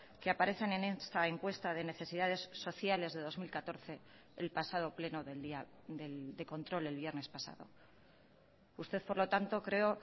que aparecen en esta encuesta de necesidades sociales de dos mil catorce el pasado pleno de control del viernes pasado usted por lo tanto creo